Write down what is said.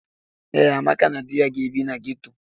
Ee, Amaka na di ya ga-ebi na geto.